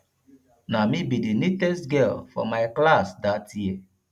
na me be the neatest girl for my class dat year